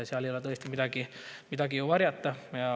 Seal ei ole tõesti midagi varjata.